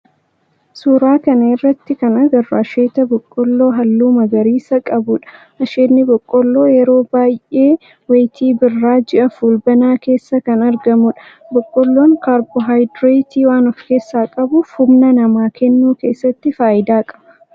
Suuraa kana irratti kan agarru asheeta boqqoolloo halluu magariisa qabudha. Asheenni boqqoolloo yeroo baayyee wayitii birraa ji'a fulbaanaa keessa kan argamudha. Boqqoolloon kaarboohayidireetii waan of keessaa qabuuf humna namaa kennuu keessatti faayidaa qaba.